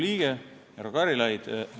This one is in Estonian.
Hea Riigikogu liige härra Karilaid!